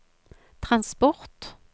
transport